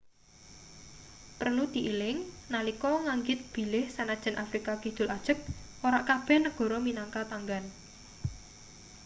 prelu dieling nalika nganggit bilih sanajan afrika kidul ajeg ora kabeh negara minangka tanggan